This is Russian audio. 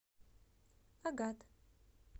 агат